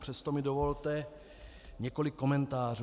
Přesto mi dovolte několik komentářů.